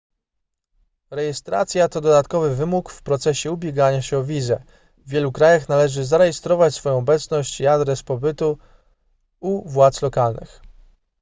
rejestracja to dodatkowy wymóg w procesie ubiegania się o wizę w wielu krajach należy zarejestrować swoją obecność i adres pobytu u władz lokalnych